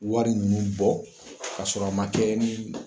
Wari ninnu bɔ ka sɔrɔ a ma kɛ ni